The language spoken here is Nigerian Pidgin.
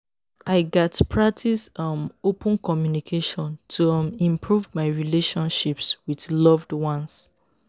i gats practice um open communication to um improve my relationships with loved ones.